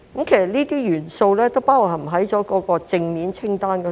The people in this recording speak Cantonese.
這些元素都包含在正面清單中。